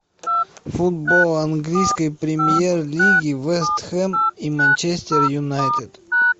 футбол английской премьер лиги вест хэм и манчестер юнайтед